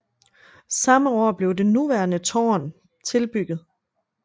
Samme år blev det nuværende tårn tilbygget